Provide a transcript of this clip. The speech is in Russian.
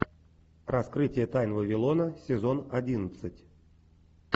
раскрытие тайн вавилона сезон одиннадцать